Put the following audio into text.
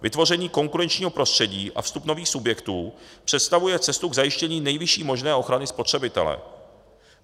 Vytvoření konkurenčního prostředí a vstup nových subjektů představuje cestu k zajištění nejvyšší možné ochrany spotřebitele.